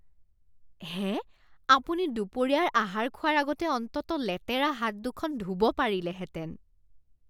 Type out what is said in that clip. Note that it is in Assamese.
হে! আপুনি দুপৰীয়াৰ আহাৰ খোৱাৰ আগতে অন্ততঃ লেতেৰা হাত দুখন ধুব পাৰিলেহেঁতেন।